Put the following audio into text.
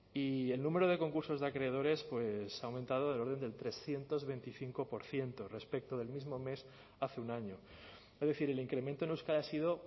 y el número de concursos de acreedores pues ha aumentado del orden del trescientos veinticinco por ciento respecto del mismo mes hace un año es decir el incremento en euskadi ha sido